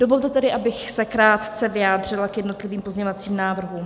Dovolte tedy, abych se krátce vyjádřila k jednotlivým pozměňovacím návrhům.